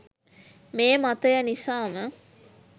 මේ මතය නිසාම